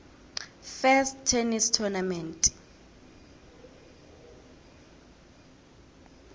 first tennis tournament